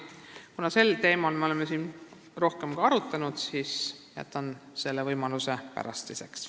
Kuna sel teemal me oleme siin ka varem arutanud, siis jätan selle nüüd pärastiseks.